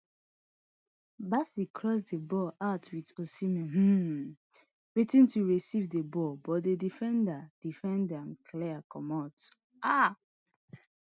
bassey cross di ball out wit osihmen um waiting to receive di ball but di defender defender clear ma comot um